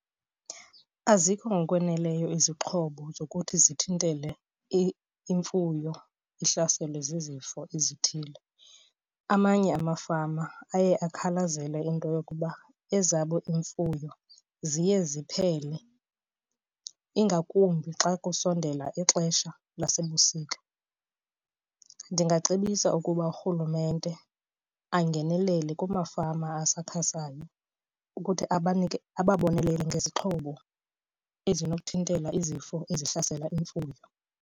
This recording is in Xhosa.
Azikho ngokwaneleyo izixhobo zokuthi zithintele imfuyo ihlaselwe zizifo ezithile. Amanye amafama aye akhalazele into yokuba ezabo iimfuyo ziye ziphele, ingakumbi xa kusondele ixesha lasebusika. Ndingacebisa ukuba urhulumente angenelele kumafama asakhasayo ukuthi abanike, ababonelele ngezixhobo ezinokuthintela izifo ezihlasela imfuyo.